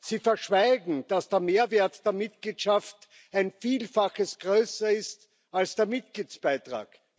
Sie verschweigen, dass der Mehrwert der Mitgliedschaft ein Vielfaches größer ist als der Mitgliedsbeitrag.